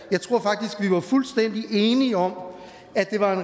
var fuldstændig enige om at det var en